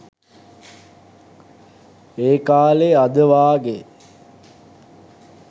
ඒකාලේ අද වාගේ